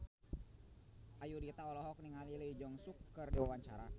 Ayudhita olohok ningali Lee Jeong Suk keur diwawancara